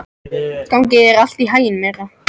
Gangi þér allt í haginn, Myrra.